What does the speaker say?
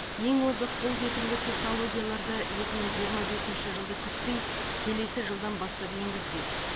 ең озық қолжетімді технологияларды екі мың жиырма бесінші жылды күтпей келесі жылдан бастап енгізбек